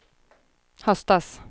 höstas